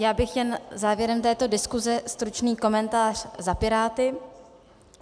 Já bych jen závěrem této diskuse stručný komentář za Piráty.